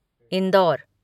Indore